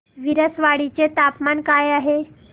विसरवाडी चे तापमान काय आहे